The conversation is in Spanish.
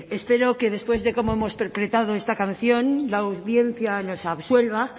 espero que después de cómo hemos interpretado esta canción la audiencia nos absuelva